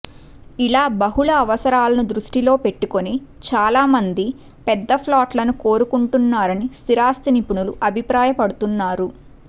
ఇలా బహుళ అవసరాలను దృష్టిలో పెట్టుకొని చాలా మంది పెద్ద ఫ్లాట్లను కోరుకుంటున్నారని స్థిరాస్తి నిపుణులూ అభిప్రాపడుతున్నారు